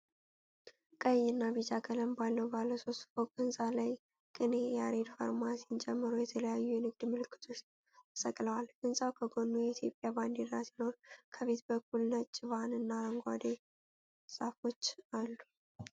ቀይ እና ቢጫ ቀለም ባለው ባለ ሶስት ፎቅ ህንጻ ላይ "ቅኔ ያሬድ ፋርማሲ"ን ጨምሮ የተለያዩ የንግድ ምልክቶች ተሰቅለዋል። ህንጻው ከጎኑ የኢትዮጵያ ባንዲራ ሲኖር፣ ከፊት በኩል ነጭ ቫን እና አረንጓዴ ዛፎች አሉ።